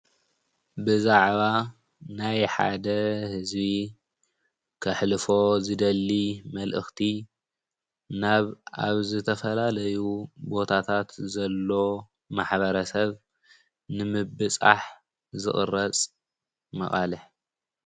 ብዛዕባ ናይ ሓደ ህዝቢ ከሕልፎ ዝደሊ መልእኽቲ ናብ ኣብ ዝተፈላለዩ ቦታታት ዘሎ ማሕበረሰብ ንምብፃሕ ዝቅረፅ መቀለ::